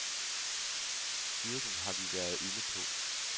Styrken har vi været inde på.